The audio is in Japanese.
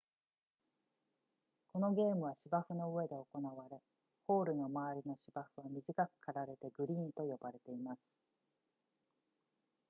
このゲームは芝生の上で行われホールの周りの芝生は短く刈られてグリーンと呼ばれています